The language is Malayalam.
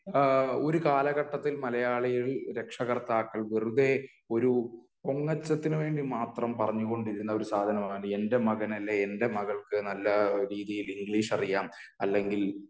ആഹ് ഒരു കാലഘട്ടത്തിൽ മലയാളി രക്ഷകർത്താക്കൾ വെറുതേ ഒരു പൊങ്ങച്ചത്തിന്ന് വേണ്ടി മാത്രം പറഞ്ഞു കൊണ്ടിരുന്ന ഒരു സാധനമാണ് എൻ്റെ മകൻ അല്ലെൽ എൻ്റെ മകൾക്ക് നല്ല രീതിയിൽ ഇംഗ്ലീഷ് അറിയാം അല്ലെങ്കി